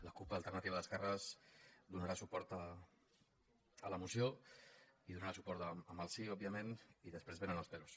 la cup alternativa d’esquerres donarà suport a la moció hi donarà suport amb el sí òbviament i després vénen els peròs